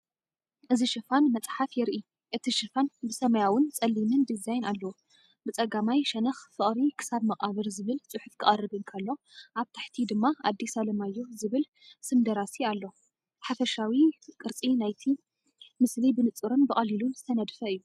እዚ ሽፋን መጽሓፍ የርኢ። እቲ ሽፋን ብሰማያውን ጸሊምን ዲዛይን ኣለዎ። ብጸጋማይ ሸነኽ "ፍቕሪ ክሳብ መቓብር" ዝብል ጽሑፍ ክቐርብ እንከሎ፡ ኣብ ታሕቲ ድማ "ኣዲስ ኣለማዮህ" ዝብል ስም ደራሲ ኣሎ። ሓፈሻዊ ቅርጺ ናይቲ ምስሊ ብንጹርን ብቐሊሉን ዝተነድፈ እዩ።